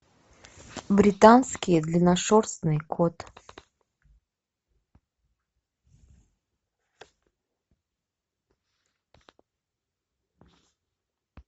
британский длинношерстный кот